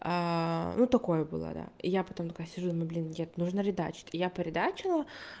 ну такое было да я потом такая сижу ну блин нет нужно редачить я поредачила